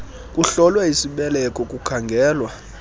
kuhlolwe isibeleko kukhangelwa